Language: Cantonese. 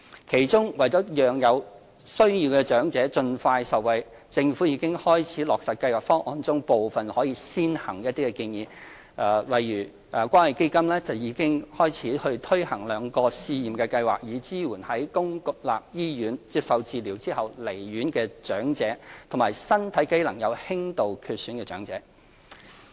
其中，為了讓有需要長者盡快受惠，政府已經開始落實《計劃方案》中部分可以先行的建議，例如關愛基金已開始推行兩項試驗計劃，以支援在公立醫院接受治療後離院的長者，以及身體機能有輕度缺損的長者。